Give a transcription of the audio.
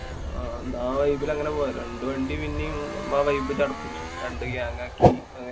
ആഹ് ന്നാ ആ vibe ല് അങ്ങനെ പോവാം. രണ്ടു വണ്ടി പിന്നേം ആ vibe ചടപ്പിച്ചും. രണ്ടു gang ആക്കി.